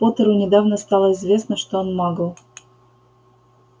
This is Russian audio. поттеру недавно стало известно что он магл